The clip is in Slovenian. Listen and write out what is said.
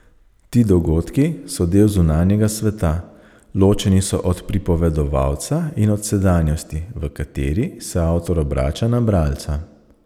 Ti dogodki so del zunanjega sveta, ločeni so od pripovedovalca in od sedanjosti, v kateri se avtor obrača na bralca.